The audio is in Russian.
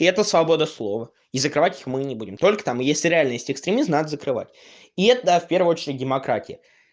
это свобода слова и закрывать их мы не будем только там если реально есть экстремизм надо закрывать и это да в первую очередь демократия